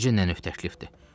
Necə nə növ təklifdir?